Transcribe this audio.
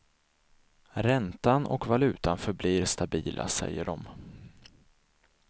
Räntan och valutan förblir stabila, säger de.